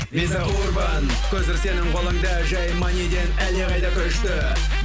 виза урбан көзір сенің қолында жай маниден әлдеқайда күшті